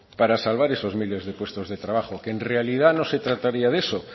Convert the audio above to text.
para salvar esos miles de puestos de trabajo que en realidad no se trataría de eso